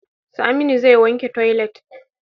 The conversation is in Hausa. Saminu zai wanke toilet.